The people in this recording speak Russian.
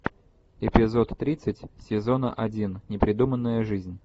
эпизод тридцать сезона один непридуманная жизнь